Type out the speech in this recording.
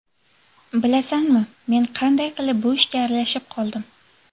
Bilasanmi, men qanday qilib bu ishga aralashib qoldim?